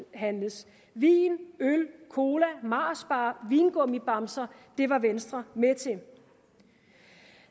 vin øl cola marsbar vingummibamser det var venstre med til